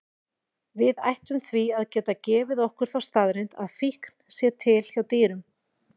Við ættum því að geta gefið okkur þá staðreynd að fíkn sé til hjá dýrum.